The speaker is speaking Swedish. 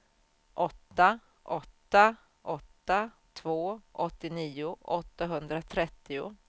åtta åtta åtta två åttionio åttahundratrettio